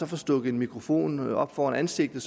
får stukket en mikrofon op foran ansigtet